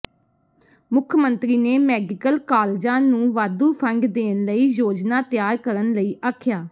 ਮੁੱਖ ਮੰਤਰੀ ਨੇ ਮੈਡੀਕਲ ਕਾਲਜਾਂ ਨੂੰ ਵਾਧੂ ਫੰਡ ਦੇਣ ਲਈ ਯੋਜਨਾ ਤਿਆਰ ਕਰਨ ਲਈ ਆਖਿਆ